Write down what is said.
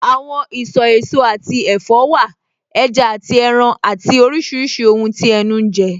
Àwọn ìsọ̀ èso àti ẹ̀fọ́ wà, ẹja àti ẹran àti oríṣiríṣi ohun tí ẹnu ń jẹ